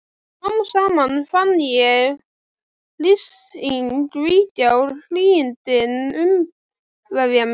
Smám saman fann ég hryssinginn víkja og hlýindin umvefja mig.